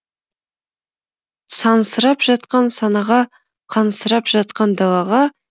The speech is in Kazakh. сансырап жатқан санаға қансырап жатқан далаға